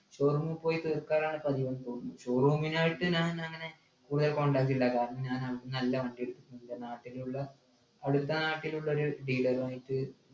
showroom പോയി തീർക്കലാണ് പതിവ് ന്നു തോന്നു showroom നായിട്ട് ഞാൻ അങ്ങനെ തീരെ contact ഇല്ല കാരണം ഞാൻ അവിടെന്നല്ല വണ്ടി എടുത്തിട്ടുള്ളത് നാട്ടിലുള്ള അടുത്ത നാട്ടിലുള്ളൊരു dealer ഉ ആയിട്ട്